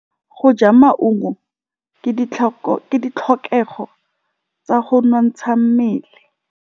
Go ja maungo ke ditlhokegô tsa go nontsha mmele.